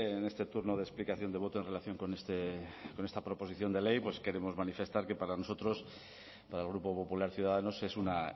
en este turno de explicación de voto en relación con esta proposición de ley pues queremos manifestar que para nosotros para el grupo popular ciudadanos es una